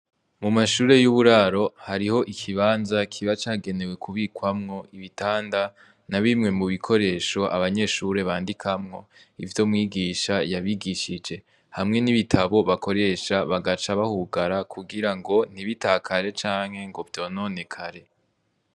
Mu mashure y'uburaro hariho ikibanza kiba cagenewe kubikwamwo ibitanda na bimwe mu bikoresho abanyeshure bandikamwo ivyo mwigisha yabigishije hamwe n'ibitabo bakoresha bagaca bahugara kugira ngo ntibitakare canke ngo vyononekare.